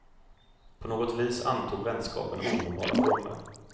På något vis antog vänskapen onormala former.